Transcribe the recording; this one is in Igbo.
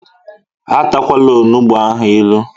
E takwala onugbu ahu ilu!